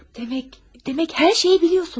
Demək, demək hər şeyi biliyorsunuz.